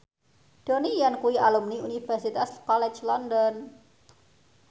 Donnie Yan kuwi alumni Universitas College London